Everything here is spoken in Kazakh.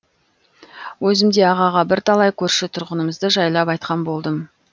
өзім де ағаға бірталай көрші тұрғанымызды жайлап айтқан болдым